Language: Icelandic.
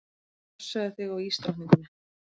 Passaðu þig á ísdrottningunni.